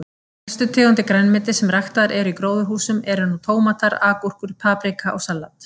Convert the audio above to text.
Helstu tegundir grænmetis sem ræktaðar eru í gróðurhúsum eru nú tómatar, agúrkur, paprika og salat.